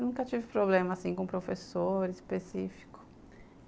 Nunca tive problema, assim, com professor específico.